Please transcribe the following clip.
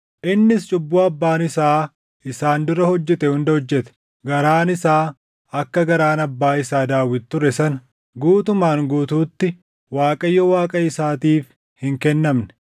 Innis cubbuu abbaan isaa isaan dura hojjete hunda hojjete; garaan isaa akka garaan abbaa isaa Daawit ture sana guutumaan guutuutti Waaqayyo Waaqa isaatiif hin kennamne.